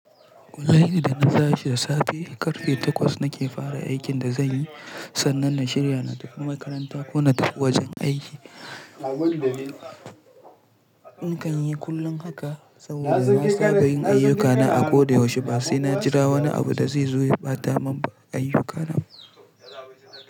Kullum idan na tashi da safe karfe takwas nake fara aikin da zanyi. Sannan na shirya na tafi makaranta ko na tafi wajen aiki. In kan yi kullum haka saboda ba sa bar yin ayyukana a ko da yaushe ba, sai na jira wani abu da zai zo ya ɓata mun ayyukana.